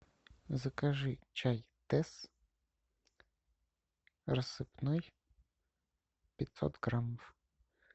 закажи чай тесс рассыпной пятьсот граммов